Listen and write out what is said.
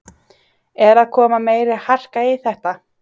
Er að koma meiri harka í þetta?